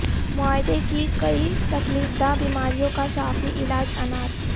معدے کی کئی تکلیف دہ بیماریوں کا شافی علاج انار